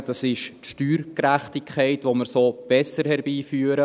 Der eine ist die Steuergerechtigkeit, die wir so besser herbeiführen.